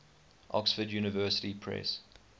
oxford university press